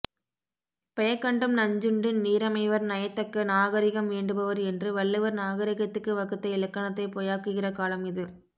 பெயக்கண்டும் நஞ்சுண்டு நீரமைவர் நயத்தக்க நாகரிகம் வேண்டுபவர் என்று வள்ளுவர் நாகரிகத்துக்கு வகுத்த இலக்கணத்தைப் பொய்யாக்குகிற காலம் இது